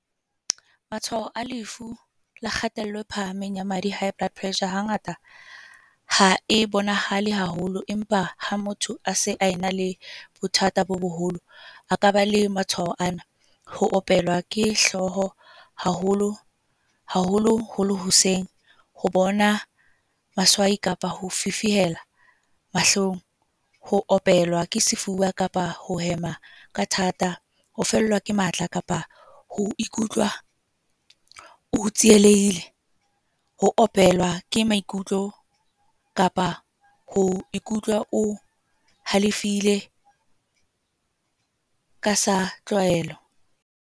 Matshwao a lefu la kgatello e phahameng ya madi. High blood pressure, hangata ha e bonahale haholo. Empa ha motho a se a ena le bothata bo boholo. A ka ba le matshwao ana, ho opelwa ke hlooho haholo haholo holo hoseng, ho bona baswai kapa ho fifihela mahlong. Ho opelwa ke sefuba kapa ho hema ka thata. Ho fellwa ke matla kapa ho ikutlwa o tsielehile. Ho opelwa ke maikutlo kapa ho o halefile, ka sa tlwaelo.